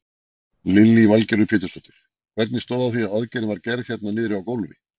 Lillý Valgerður Pétursdóttir: Hvernig stóð á því að aðgerðin var gerð hérna niðri á gólfi?